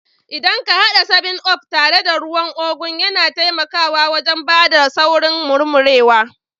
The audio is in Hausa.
Idan ka hada 7up tare da ruwan ugu, yana taimakawa wajen ba da saurin murmurewa